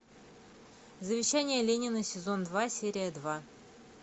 завещание ленина сезон два серия два